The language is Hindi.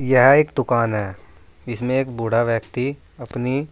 यह एक दुकान है इसमें एक बूढ़ा व्यक्ति अपनी